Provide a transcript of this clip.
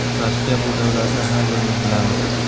Rossiya bu davlatni har birimiz bilamiz.